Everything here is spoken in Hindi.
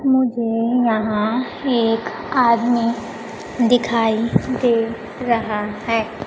मुझे यहां एक आदमी दिखाई दे रहा है।